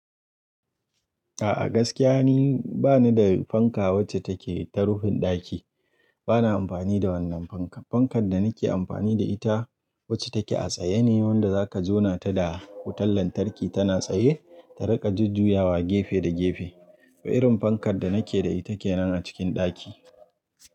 A'a gaskiya ne, bani da fanka wacce take ta rufin ɗaki. Bana amfani da wannan fanka. Fankar da nake amfani da ita wacce take a tsaye ne wanda zaka jona ta da wutan lantarki tana tsaye ta riƙa jujjuyawa gefe da gefe. Irin fankar da nake da ita kenan a cikin ɗaki.